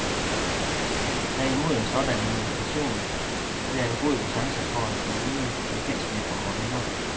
Tag imod en sådan invitation, det er en god chance for at få nye bekendtskaber og venner.